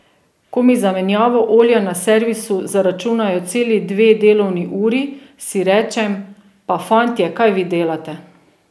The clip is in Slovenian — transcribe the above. Ko mi za menjavo olja na servisu zaračunajo celi dve delovni uri, si rečem, pa fantje, kaj vi delate.